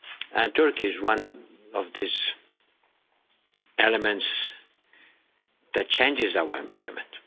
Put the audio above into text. And Turkey is one of these elements that changes our environment.